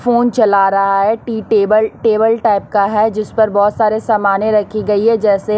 phone चला रहा है टी टेबल टेबल टाइप का है जिस पर बहोत सारे सामने रखी गई है जैसे--